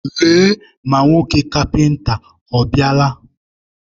Lee ma nwoke kapịnta ọ bịala.